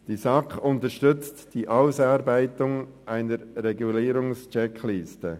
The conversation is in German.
Die SAK unterstützt die Ausarbeitung einer Regulierungscheckliste.